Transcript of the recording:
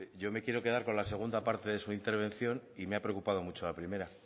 yo me quiero quedar con la segunda parte de su intervención y me ha preocupado mucho la primera